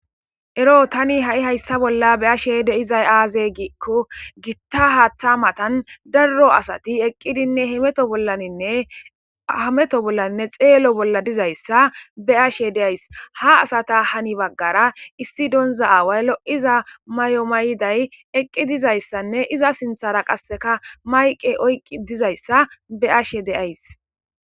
Ero tani ha7i hayssa bolla be7ashe de7izay aaze giikko gitta haaththa matan darro asati eqqidinne hameto bollaninne xeelo bolla dizayssa be7ashe de7ays .Ha asata hani baggara issi donza aaway lo7iza may7o mayday eqqi dizayssanne iza sinthara qasseka mayqe oyqqi dizayssa be7ashe de7ays.